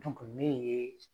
min ye